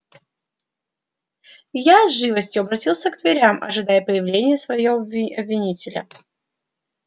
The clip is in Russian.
я с живостию обратился к дверям ожидая появления своего обвинителя